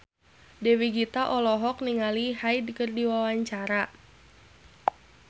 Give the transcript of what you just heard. Dewi Gita olohok ningali Hyde keur diwawancara